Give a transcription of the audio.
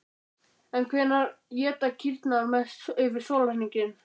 En hvenær éta kýrnar mest yfir sólarhringinn?